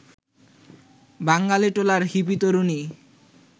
বাঙালিটোলার hippie তরুণী